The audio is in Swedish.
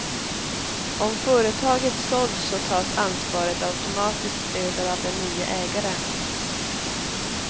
Om företaget sålts så tas ansvaret automatiskt över av den nye ägaren.